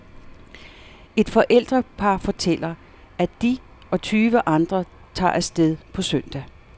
Et forældrepar fortæller, at de og tyve andre tager af sted på søndag.